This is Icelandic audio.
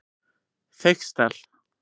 Feigsdal